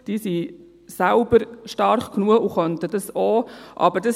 Sie sind selbst stark genug und könnten es auch tun.